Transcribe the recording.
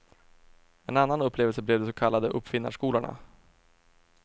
En annan upplevelse blev de så kallade uppfinnarskolorna.